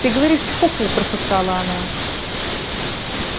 ты говоришь чепуху прошептала она